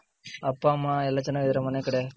ಅಪ್ಪ ಅಮ್ಮ ಎಲ್ಲ ಚೆನ್ನಗಿದರ ಮನೆ ಕಡೆ?